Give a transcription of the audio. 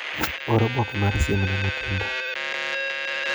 Or oboke mar siem ne Mutinda.